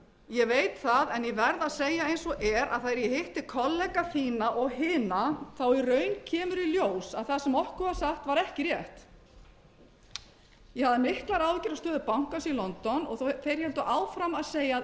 ég veit það en ég verð að segja eins og er að þegar ég hitti kollega þína og hina þá í raun kemur í ljós að það sem okkur var sagt var ekki rétt ég hafði miklar áhyggjur af stöðu bankans í london en þeir héldu áfram að segja